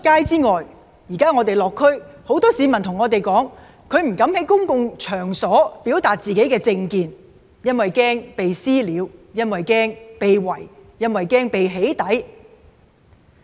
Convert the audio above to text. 此外，我們最近落區，有很多市民跟我們說不敢在公共場所表達自己的政見，因為害怕遭人"私了"、害怕被"圍"、害怕被"起底"。